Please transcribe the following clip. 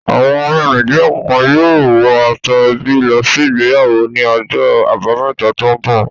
Àwọn ará Nàìjíríà kọ̀ọ̀kan yóò wọ aṣọ-ẹbí lọ sí ìgbéyàwó ní ọjọ́ àbámẹ́ta tó ń bọ̀.